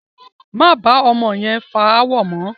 Máa bá ọmọ yẹn fà ááwọ̀ mọ!